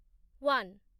one